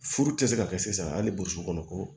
Furu tɛ se ka kɛ sisan hali boso kɔnɔ ko